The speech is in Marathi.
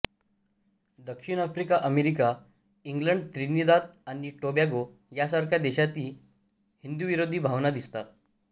दक्षिण अफ्रिका अमेरिका इंग्लंड त्रिनिदाद आणि टोबॅगो यासारख्या देशांमध्येही हिंदूविरोधी भावना दिसतात